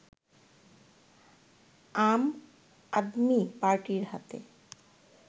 আম আদমি পার্টির হাতে